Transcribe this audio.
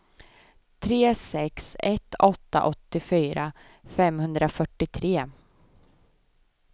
tre sex ett åtta åttiofyra femhundrafyrtiotre